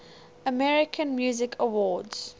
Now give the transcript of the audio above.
american music awards